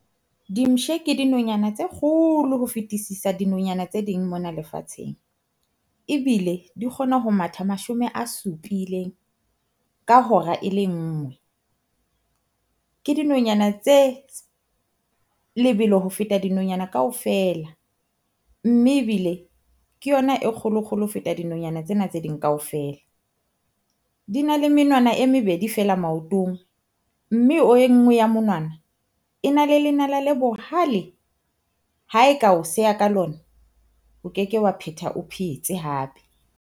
Dimpshe ke dinonyana tse kgolo ho fetisisa dinonyana tse ding mona lefatsheng, ebile di kgona ho matha mashome a supileng ka hora e le ngwe. Ke dinonyana tse lebelo ho feta dinonyana kaofela, mme ebile ke yona e kgolo-kgolo ho feta dinonyana tsena tse ding kaofela. Di na le menwana e mebedi feela maotong, Mme o enngwe ya monwana, e na le lenala le bohale ha e ka o seha ka lona, o keke wa phetha o phetse hape.